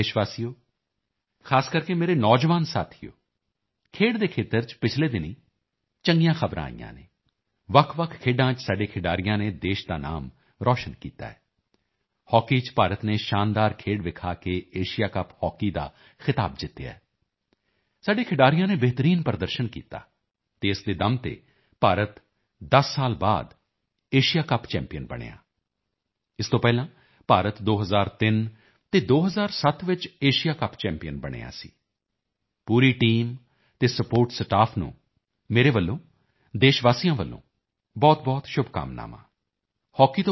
ਮੇਰੇ ਪਿਆਰੇ ਦੇਸ਼ ਵਾਸੀਓ ਖ਼ਾਸ ਕਰਕੇ ਮੇਰੇ ਨੌਜਵਾਨ ਸਾਥੀਓ ਖੇਡ ਦੇ ਖੇਤਰ ਚ ਪਿਛਲੇ ਦਿਨੀਂ ਚੰਗੀਆਂ ਖ਼ਬਰਾਂ ਆਈਆਂ ਨੇ ਵੱਖਵੱਖ ਖੇਡਾਂ ਚ ਸਾਡੇ ਖਿਡਾਰੀਆਂ ਨੇ ਦੇਸ਼ ਦੇ ਨਾਮ ਰੌਸ਼ਨ ਕੀਤਾ ਹੈ ਹਾਕੀ ਚ ਭਾਰਤ ਨੇ ਸ਼ਾਨਦਾਰ ਖੇਡ ਵਿਖਾ ਕੇ ਏਸ਼ੀਆ ਕੱਪ ਹਾਕੀ ਦਾ ਖਿਤਾਬ ਜਿੱਤਿਆ ਹੈ ਸਾਡੇ ਖਿਡਾਰੀਆਂ ਨੇ ਬਿਹਤਰੀਨ ਪ੍ਰਦਰਸ਼ਨ ਕੀਤਾ ਅਤੇ ਇਸੇ ਦੇ ਦਮ ਤੇ ਭਾਰਤ 10 ਸਾਲ ਬਾਅਦ ਏਸ਼ੀਆ ਕੱਪ ਚੈਂਪੀਅਨ ਬਣਿਆ ਹੈ ਇਸ ਤੋਂ ਪਹਿਲਾਂ ਭਾਰਤ 2003 ਅਤੇ 2007 ਚ ਏਸ਼ੀਆ ਕੱਪ ਚੈਂਪੀਅਨ ਬਣਿਆ ਸੀ ਪੂਰੀ ਟੀਮ ਅਤੇ ਸਪੋਰਟ ਸਟਾਫ ਨੂੰ ਮੇਰੇ ਵੱਲੋਂ ਦੇਸ਼ ਵਾਸੀਆਂ ਵੱਲੋਂ ਬਹੁਤਬਹੁਤ ਸ਼ੁਭਕਾਮਨਾਵਾਂ